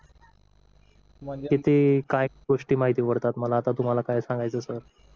किती काय गोष्टी माहिती पडतात मला आता तुम्हाला काय सांगायचं सर